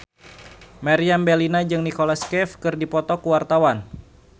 Meriam Bellina jeung Nicholas Cafe keur dipoto ku wartawan